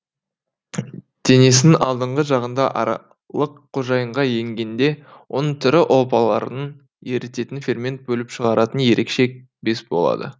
денесінің алдыңғы жағында аралық қожайынға енгенде оның тірі ұлпаларын ерітетін фермент бөліп шығаратын ерекше без болады